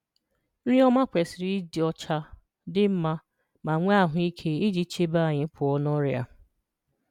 Nrí ọmà kwesị̀rì ịdị̀ ọ̀chà, dị̀ mmà, ma nweè ahụ̀íkè iji chèbè̀ ànyị̀ pụọ̀ na ọrịà